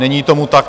Není tomu tak.